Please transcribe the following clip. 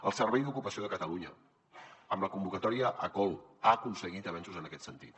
el servei d’ocupació de catalunya amb la convocatòria acol ha aconseguit avenços en aquest sentit